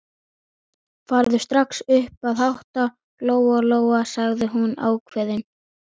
Farðu strax upp að hátta, Lóa-Lóa, sagði hún ákveðin.